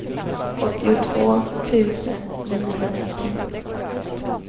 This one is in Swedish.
åttiotvå tusen niohundratio